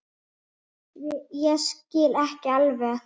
Ég skil ekki alveg